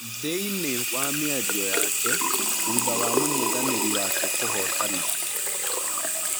Thĩiniĩ wa mĩario yake thutha wa mũng'ethanĩri wake kũhotana.